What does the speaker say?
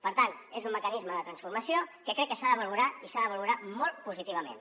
per tant és un mecanisme de transformació que crec que s’ha de valorar i s’ha de valorar molt positivament